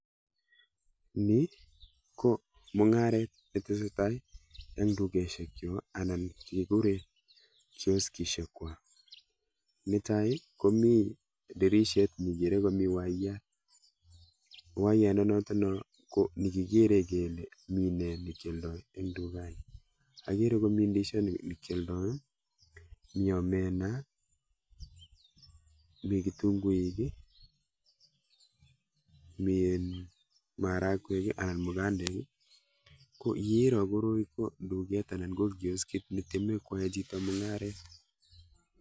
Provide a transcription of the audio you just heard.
Ni ko mung'aret netesetai eng dukeshekcho anan kekure kioskishekwa. Netai komi dirishet nikere komi waiyat, waiyandanoto ko nekikere kele mi ne nikealdoi eng dukani. Akere koni ndishot nikealdoi, mi omena, mi kitunguik i, mi um marakwek anan mugandek, ko yeiro koroi ko duket anan ko kioskit netyeme chito koyae mung'aret.